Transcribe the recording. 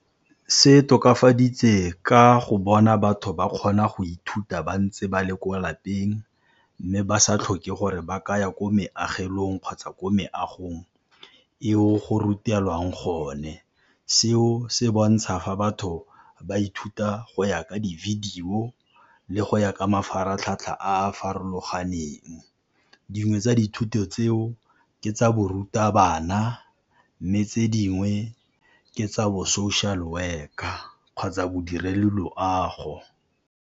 Se tokafaditse ka go bona batho ba kgona go ithuta ba ntse ba le kwa lapeng, mme ba sa tlhoke gore ba ka ya ko meagelong kgotsa ko meagong eo go rutelwang gone. Seo se bontsha fa batho ba ithuta go ya ka di-video le go ya ka mafaratlhatlha a a farologaneng, dingwe tsa dithuto tseo ke tsa borutabana mme tse dingwe ke tsa bo social worker kgotsa bodiredi loago.